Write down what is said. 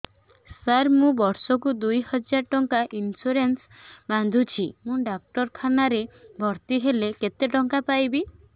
ସାର ମୁ ବର୍ଷ କୁ ଦୁଇ ହଜାର ଟଙ୍କା ଇନ୍ସୁରେନ୍ସ ବାନ୍ଧୁଛି ମୁ ଡାକ୍ତରଖାନା ରେ ଭର୍ତ୍ତିହେଲେ କେତେଟଙ୍କା ପାଇବି